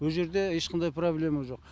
ол жерде ешқандай проблема жоқ